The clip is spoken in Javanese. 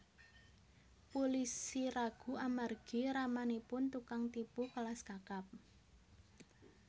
Pulisi ragu amargi ramanipun tukang tipu kelas kakap